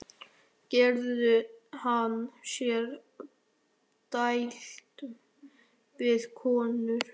Gerði hann sér dælt við konur?